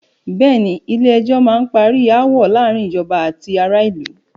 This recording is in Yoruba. Bẹ̀ẹ́ni, Ilé ẹjọ́ má n parí aáwọ̀ láàárín ìjọba àti ará ìlú.